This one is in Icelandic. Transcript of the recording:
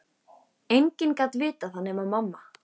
Enginn gat vitað það nema mamma.